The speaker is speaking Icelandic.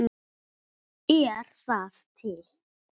Er það til?